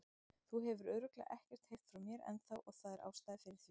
Þú hefur örugglega ekkert heyrt frá mér ennþá og það er ástæða fyrir því.